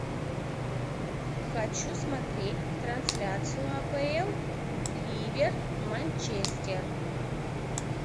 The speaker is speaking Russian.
хочу смотреть трансляцию апл ливер манчестер